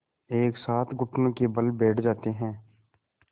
एक साथ घुटनों के बल बैठ जाते हैं